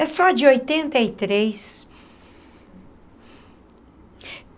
É só de oitenta e três.